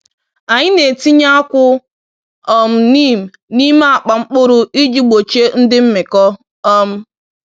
Anyị na-etinye akwụ um neem n’ime akpa mkpụrụ iji gbochie ndị mmịkọ. um